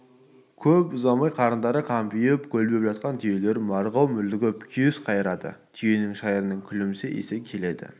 көп ұзамайды қарындары қампиып көлбеп жатқан түйелер марғау мүлгіп күйіс қайырады түйе шайырының күлімсі иісі келеді